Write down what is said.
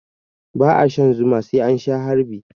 Ba a shan Zuma sai an Sha harbi.